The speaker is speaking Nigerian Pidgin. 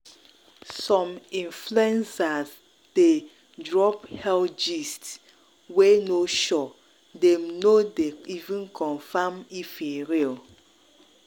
some influencers dey drop health gist wey no sure dem no dey even confirm if e real.